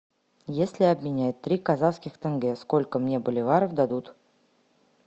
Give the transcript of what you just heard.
если обменять три казахских тенге сколько мне боливаров дадут